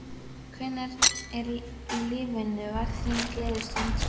Hvenær í lífinu var þín gleðistund?